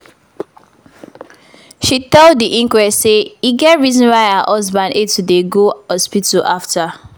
she tell di inquest say e get reason why her husband hate to dey go hospital afta